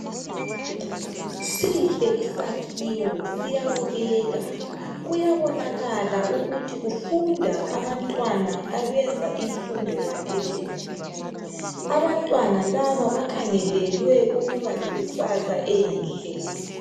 Sihle isakhiwo siyabukeka .Kuyabonakala ukuthi kufunda abantwana abenza imfundo yaphezulu. Abantwana laba bakhangelelwe ukuba lekusasa enhle .